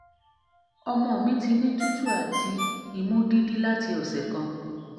ọmọ mi ti ni tutu ati imu imu didi lati ọsẹ kan